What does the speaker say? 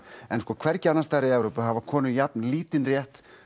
hvergi annars staðar í Evrópu hafa konur jafn lítinn rétt